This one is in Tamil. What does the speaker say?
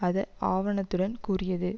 அது ஆவணத்துடன் கூறியது